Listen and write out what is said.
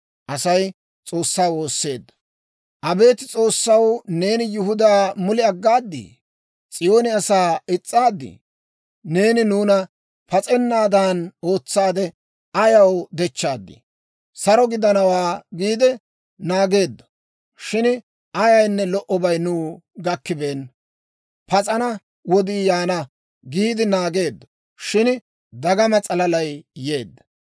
Abeet S'oossaw, neeni Yihudaa mule aggaadii? S'iyoone asaa is's'aadii? Neeni nuuna pas'ennaadan ootsaade ayaw dechchaadii? «Saro gidanawaa» giide naageeddo; shin ayaynne lo"obay nuw gakkibeenna. «Pas'ana wodii yaana» giide naageeddo; shin dagama s'alalay yeedda.